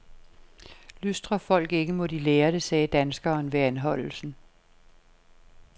Lystrer folk ikke, må de lære det, sagde danskeren ved anholdelsen.